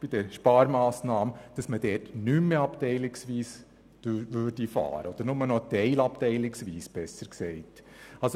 Der Vorschlag der Sparmassnahmen hat zur Folge, dass diese Lektionen nicht mehr oder nur zum Teil abteilungsweise unterrichtet werden können.